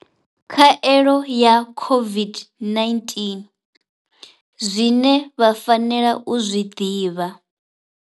Khaelo ya COVID-19, Zwine vha fanela u zwi ḓivha.